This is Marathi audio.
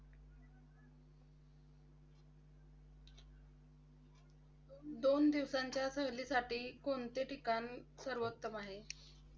दोन दिवसांच्या सहलीसाठी कोणते ठिकाण सर्वोत्तम आहे?